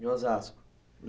Em Osasco.